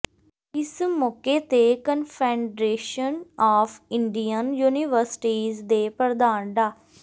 ਇਸ ਮੌਕੇ ਤੇ ਕੰਨਫੈਡਰੇਸ਼ਨ ਆਫ ਇੰਡੀਅਨ ਯੂਨੀਵਰਸਿਟੀਜ਼ ਦੇ ਪ੍ਰਧਾਨ ਡਾ